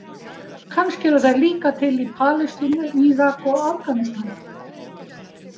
Kannski eru þær líka til í Palestínu, Írak og Afganistan.